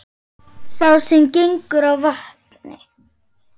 Sá sem gengur á vatni